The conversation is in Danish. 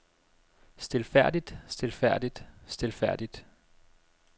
stilfærdigt stilfærdigt stilfærdigt